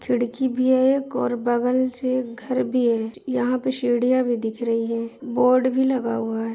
खिड़की भी है से एक घर भी है यहां पे भी दिख रही है बोर्ड भी लगा हुआ है।